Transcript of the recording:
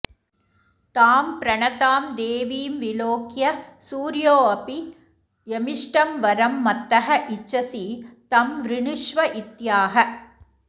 तां प्रणतां देवीं विलोक्य सूर्योऽपि यमिष्टं वरं मत्तः इच्छसि तं वृणुष्व इत्याह